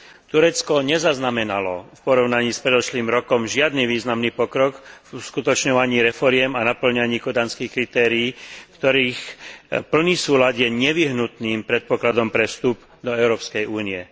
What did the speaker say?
Turecko nezaznamenalo v porovnaní s predošlým rokom žiadny významný pokrok v uskutočňovaní reforiem a napĺňaní kodanských kritérií, ktorých plný súlad je nevyhnutným predpokladom na vstup do Európskej únie.